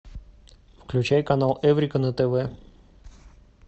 включай канал эврика на тв